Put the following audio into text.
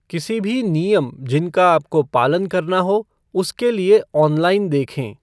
किसी भी नियम जिनका आपको पालन करना हो, उसके लिए ऑनलाइन देखें।